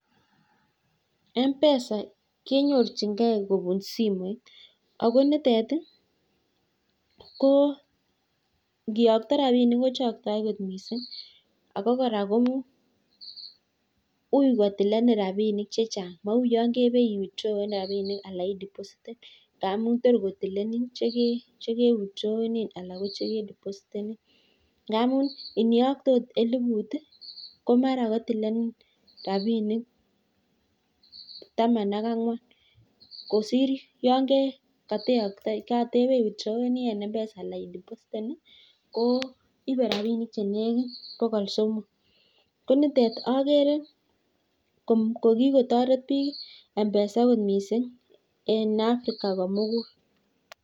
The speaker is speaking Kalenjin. Mpesa kenyorchinkei kobun simoit ii ako koraa memuch kotil rabishek che chang ngamuu ko tilenen chekebaishei akeree kikotoret bik mpesa missing eng Africa komukul